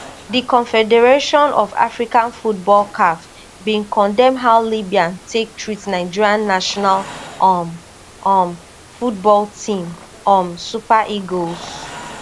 di confederation of african football caf bin condemn how libya take treat nigeria national um um football team um super eagles